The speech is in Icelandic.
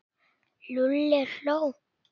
Lúlli hló.